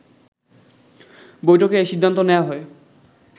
বৈঠকে এ সিদ্ধান্ত নেয়া হয়